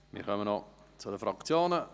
Wir kommen zu den Fraktionen.